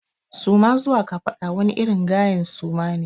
Suma zuwa kafaɗa wani irin gayen suma ne.